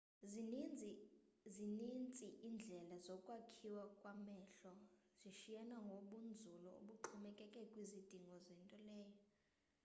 zinintsi indlela zokwakhiwa kwamehlo zishiyana ngobunzulu obuxhomekeke kwizidingo zento leyo